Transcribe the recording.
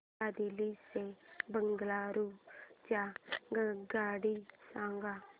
मला दिल्ली ते बंगळूरू च्या आगगाडया सांगा